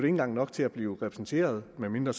engang nok til at blive repræsenteret medmindre